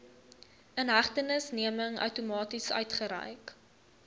inhegtenisneming outomaties uitgereik